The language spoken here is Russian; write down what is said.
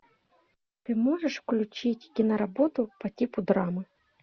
ты можешь включить киноработу по типу драмы